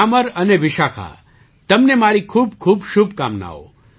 ગ્યામર અને વિશાખા તમને મારી ખૂબખૂબ શુભકામનાઓ